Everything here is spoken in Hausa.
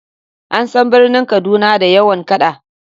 An san birnin Kaduna da yawan kada.